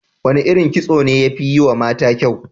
Wane irin kitso ne ya fi yiwa mata kyau?